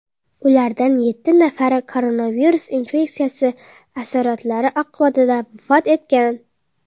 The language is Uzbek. Ulardan yetti nafari koronavirus infeksiyasi asoratlari oqibatida vafot etgan.